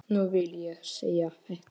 Nú vil ég segja þetta.